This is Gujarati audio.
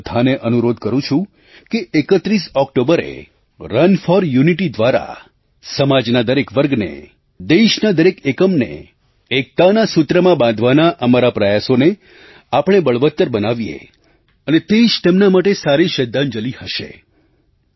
હું તમને બધાને અનુરોધ કરું છું કે 31 ઑક્ટોબરે રન ફોર Unityના દ્વારા સમાજના દરેક વર્ગને દેશના દરેક એકમને એકતાના સૂત્રમાં બાંધવાના અમારા પ્રયાસોને આપણે બળવત્તર બનાવીએ અને તે જ તેમના માટે સારી શ્રદ્ધાંજલી હશે